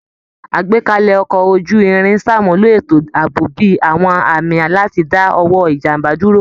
Àgbékalẹ̀ Ọkọ̀ ojú-irin ṣàmúlò ètò ààbò bí i àwọn àmì láti dá ọwọ́ ìjàmbá dúró